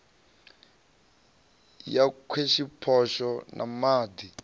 ya wekhishopho na ma ḓ